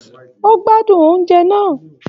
O gbádùn oúnjẹ náà.